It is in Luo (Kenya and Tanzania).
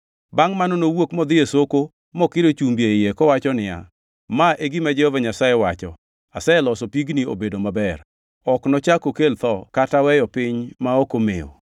Bangʼ mano nowuok modhi e sokono mokiro chumbi e iye kowacho niya, “Ma e gima Jehova Nyasaye wacho: ‘Aseloso pigni obedo maber. Ok nochak okel tho kata weyo piny ma ok omew.’ ”